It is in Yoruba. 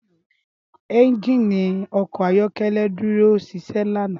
Ẹ́njínì ọkọ ayọkẹlẹ duro ṣiṣẹ lana.